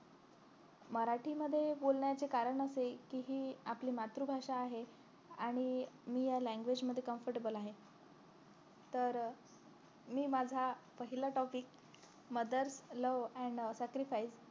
मराठी मध्ये बोलण्याचे कारण असे कि हि आपली मातृ भाषा आहे आणि मी ह्या language मध्ये comfortable आहे तर मी माझा पहिला topicmothers love and sacrifice